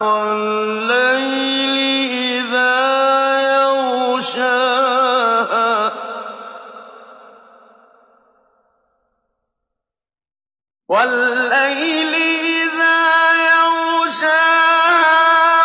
وَاللَّيْلِ إِذَا يَغْشَاهَا